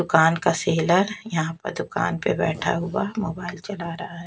दुकान का सेलर यहाँ पर दुकान पर बैठा हुआ मोबाइल चला रहा है।